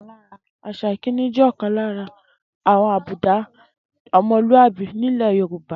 Às̩à ìkíni jè̩ ò̩kan lára àwo̩n àbúdá o̩mo̩lúàbí nílè̩ Yorùbá